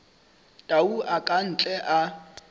tau a ka ntle a